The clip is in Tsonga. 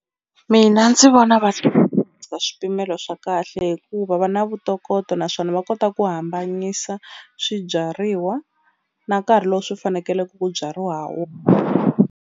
Mina ndzi vona va swipimelo swa kahle hikuva va na vutokoto naswona va kota ku hambanyisa swibyariwa na nkarhi lowu swi fanekele ku byariwa ha .